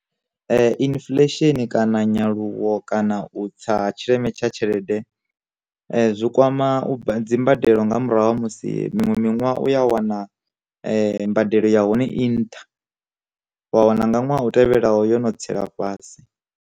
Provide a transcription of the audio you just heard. Infulesheni kana nyaluwo kana u tsa tshileme tsha tshelede, zwi kwama dzi mbadelo nga murahu ha musi miṅwe minwaha u ya wana mbadelo ya hone i nṱha, wa wana nga nwaha u tevhelaho yo no tsela fhasi.